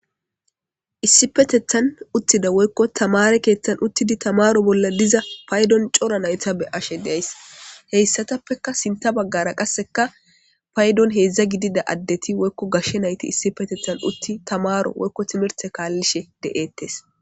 issipetethan uttida woykko tamare keeththan uttidi tamaro bolla diza paydon cora nayta be ashe deays heyssatappeka sinta baggara qasseka paydon heedzdza gidida addeti woykko gashshe nayti issi petethan utti tamaro woykko timirte kaallishe de'eettes